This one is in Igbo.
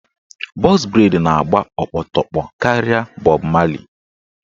Bọx breid na-agba okpotokpo karịa bọb marli